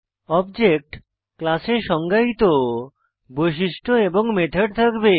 object class এ সংজ্ঞায়িত বৈশিষ্ট্য এবং মেথড থাকবে